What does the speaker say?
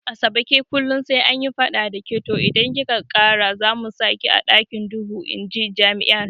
Asabe ke kullum sai anyi fada dake to idan kika kara zamu saki a ɗakin duhu inji jami'ar